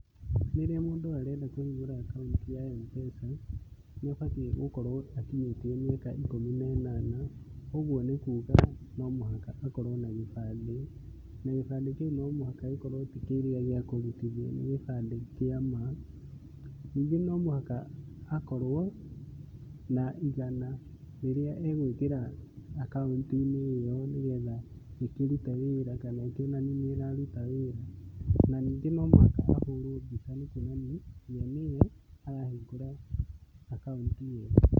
Rĩrĩa mũndũ arenda kũhingũra akauntĩ ya M-Pesa, nĩ abatiĩ gũkorwo akinyĩtie mĩaka ikũmi na ĩnana. Ũguo nĩ kuga no mũhaka akorwo na gĩbandĩ, na gĩbandi kiu no mũhaka gĩkorwo ti kĩrĩa gĩa kũrutithia ni gibandĩ kĩa ma. Ningĩ no mũhaka akorwo na igana rĩrĩa egwĩkira akaũnti-inĩ ĩyo nĩgetha ikirute wĩra kana ĩkĩonanie nĩ ĩraruta wĩra. Na ningĩ no mũhaka ahũrwo mbica ya kuonania we nĩwe arahingũra akaũnti ĩyo.